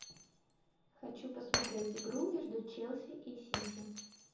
хочу посмотреть игру между челси и сити